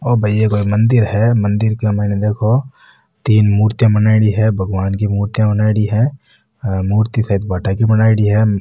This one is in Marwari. यो भाई यो एक मंदिर है मंदिर के माइने देखो तीन मुर्तिया बनाईडी है भगवान की मुर्तिया बनाईडी है मूर्ति सायद भाटा की बनायेड़ी है।